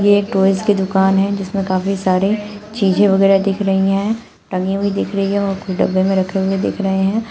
ये एक टॉयज की दुकान है जिसमें काफी सारे चीजें वगैरह दिख रही है टंगी हुई दिख रही है और कुछ डब्बे में रखे हुए दिख रहे हैं।